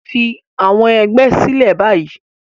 Fi àwọn ẹgbẹ́ sílẹ̀ báyìí